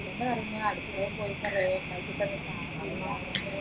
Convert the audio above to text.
അതെ പറഞ്ഞെ പോയിട്ട് കുറെ സഹിച്ചിട്ടൊന്നും കാര്യല്ല